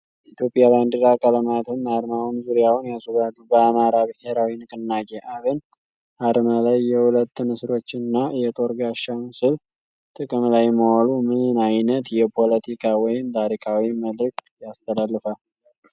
የኢትዮጵያ ባንዲራ ቀለማትም አርማውን ዙሪያውን ያስውባሉ። በአማራ ብሔራዊ ንቅናቄ (አብን) አርማ ላይ የሁለት ንስሮች እና የጦር ጋሻ ምስል ጥቅም ላይ መዋሉ ምን ዓይነት የፖለቲካ ወይም ታሪካዊ መልዕክት ያስተላልፋል?